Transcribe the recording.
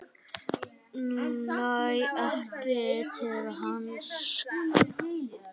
Næ ekki til hans.